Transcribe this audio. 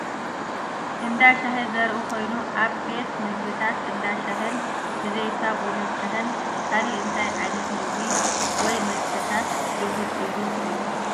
እንዳ ሻሂ ዘርኢ ኾይኑ ኣብ ቤት መግብታትን እንዳ ሻሂን ብዘይካ ቡንን ሻሂን ካልእ እንታይ ዓይነት ምግቢ ወይ መስተታት ልሙድ እዩ ትብሉ?